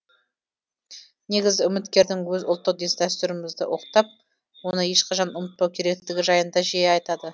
негізі үміткердің өзі ұлттық дәстүрімізді ұлықтап оны ешқашан ұмытпау керектігі жайында жиі айтады